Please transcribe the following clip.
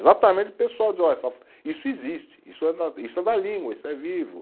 Exatamente o pessoal dizia olha, isso existe, isso é da, isso é da língua, isso é vivo.